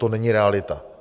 To není realita.